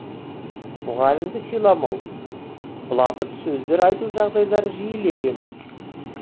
мұғалімді сыйламау былапыт сөздер айту жағдайлары жиілеген